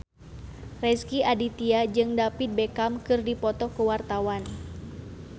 Rezky Aditya jeung David Beckham keur dipoto ku wartawan